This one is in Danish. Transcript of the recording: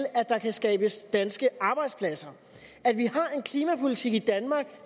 at der kan skabes danske arbejdspladser at vi har en klimapolitik i danmark